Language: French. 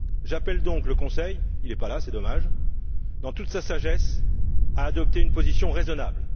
J'appelle donc le Conseil il n'est pas là, c'est dommage dans toute sa sagesse, à adopter une position raisonnable.